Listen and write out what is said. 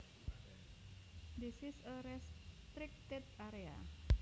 This is a restricted area